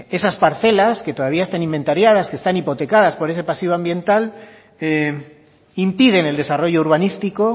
esas parcelas que todavía están inventariadas que están hipotecadas por ese pasillo ambiental impiden el desarrollo urbanístico